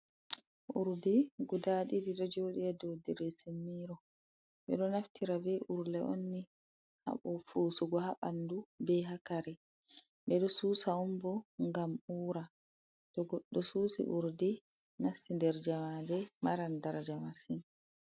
Urdi guda didi do jodi ha do diresimiro, be do naftira be urle on ni habo fusugo habandu be ha kare bedo susa dum bo gam ura do susi urdi nasti der jamaje maran daraja masin.